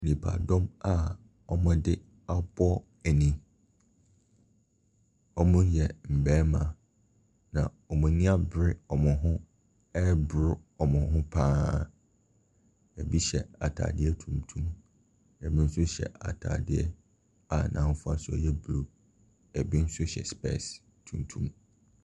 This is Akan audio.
Nnipadɔm a wɔde abɔ ani, wɔyɛ mmarima, na wɔn ani abere wɔn ho ɛreboro wɔn ho pa ara. Ɛbi hyɛ ataadeɛ tuntum, ɛbi nso hyɛ ataadeɛ a n’hofasuo nk ɛyɛ bruu. Ɛbi nso hyɛ sepɛɛse tuntum.